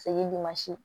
Segi